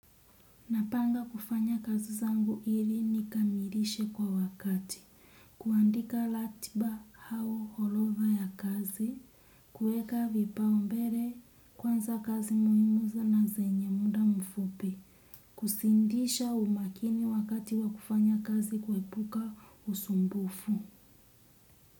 Napanga kufanya kazi zangu hili nikamilishe kwa wakati. Kuandika ratiba au orodha ya kazi. Kuweka vipau mbele kwanza kazi muhimu na zenye muda mfupi. Kusindisha umakini wakati wa kufanya kazi kuepuka usumbufu.